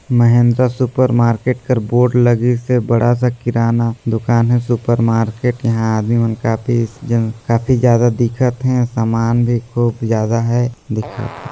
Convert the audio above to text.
Mahindra super market कर board लगी से हेबड़ा सा किराना दुकान है सुपर मार्केट ईहां आदमी मन काफ़ी जन-- काफी ज्यादा दिखत हे समान भी खूब जादा है दिखत है।